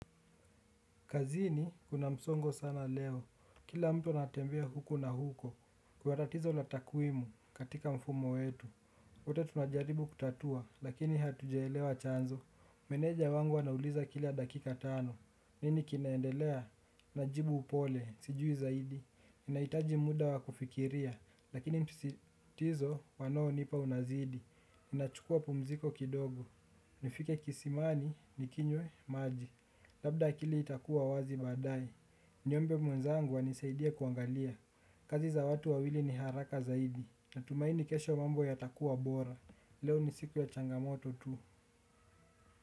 Kazini kuna msongo sana leo. Kila mtu anatembea huko na huko. Kwa tatizo la takwimu katika mfumo wetu. Wote tunajaribu kutatua lakini hatujaelewa chanzo. Meneja wangu anauliza kila dakika tano. Nini kinaendelea? Najibu upole. Sijui zaidi. Ninahitaji muda wa kufikiria lakini msitizo wanaonipa unazidi. Ninachukua pumziko kidogo. Nifike kisimani, nikinywe, maji. Labda akili itakuwa wazi baadaye. Niombe mwenzangu anisaidie kuangalia. Kazi za watu wawili ni haraka zaidi. Natumaini kesho mambo yatakuwa bora. Leo ni siku ya changamoto tu.